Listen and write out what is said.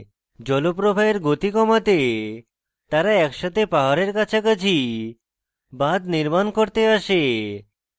জলপ্রবাহের গতি কমাতে তারা একসাথে পাহাড়ের কাছাকাছি বাঁধ নির্মাণ করতে আসে